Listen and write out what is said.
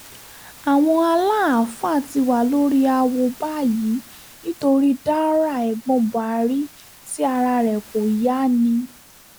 àwọn aláàfáà ti wà lórí àwo báyìí nítorí daura ẹ̀gbọ́n buhari tí ara rẹ̀ kò yá ni